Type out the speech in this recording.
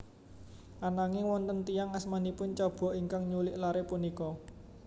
Ananging wonten tiyang asmanipun Chaba ingkang nyulik lare punika